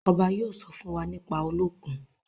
obá yóò sọ fún wá nípa Olókùn.